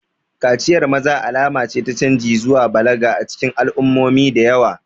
Kaciyar maza alama ce ta canji zuwa balaga a cikin al'ummomi da yawa.